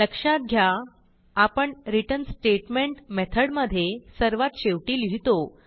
लक्षात घ्या आपण रिटर्न स्टेटमेंट मेथडमधे सर्वात शेवटी लिहितो